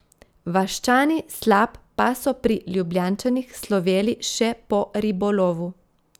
Vaščani Slap pa so pri Ljubljančanih sloveli še po ribolovu.